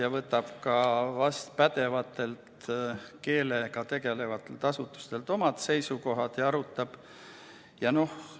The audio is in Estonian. Ta võtab pädevatelt keelega tegelevatelt asutustelt seisukohad ja arutab neid.